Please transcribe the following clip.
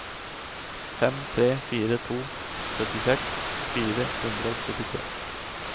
fem tre fire to syttiseks fire hundre og syttitre